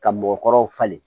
Ka mɔgɔkɔrɔbaw falen